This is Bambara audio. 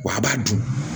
Wa a b'a dun